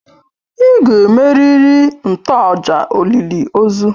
Ị ga-emerịrị ntoaja olịlị ozu!